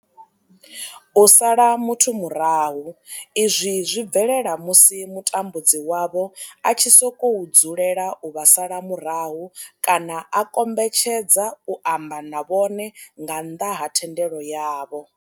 U sala muthu murahu izwi zwi bvelela musi mutambudzi wavho a tshi sokou dzulela u vha sala murahu kana a kombetshedza u amba na vhone nga nnḓa ha thendelo yavho.